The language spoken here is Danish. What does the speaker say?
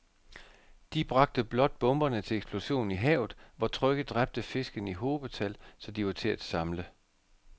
De bragte blot bomberne til eksplosion i havet, hvor trykket dræbte fiskene i hobetal, så de var til at samle